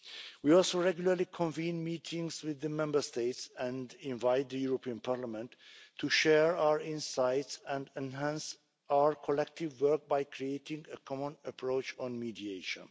We also regularly convene meetings with the Member States and invite the European Parliament to share our insights and enhance our collective work by creating a common approach on mediation.